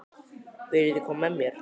Viljiði koma með mér?